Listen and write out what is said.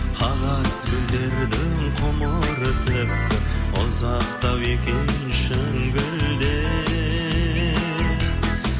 қағаз гүлдердің ғұмыры тіпті ұзақтау екен шын гүлден